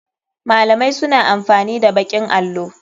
Malamai suna amfani da baƙin allo.